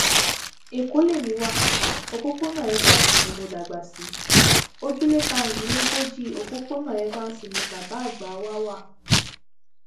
ẹkọ lèmi wa òpópónà evans ni mo dàgbà sí ojúlé karùndínlógójì òpópónà evans ní ilé bàbá àgbà wa wà